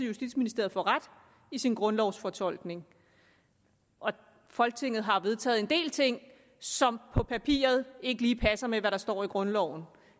justitsministeriet får ret i sin grundlovsfortolkning folketinget har vedtaget en del ting som på papiret ikke lige passer med hvad der står i grundloven